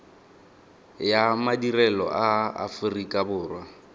ya madirelo a aforika borwa